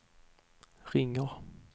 ringer